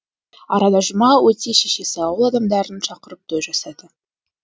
арада жұма өте шешесі ауыл адамдарын шақырып той жасады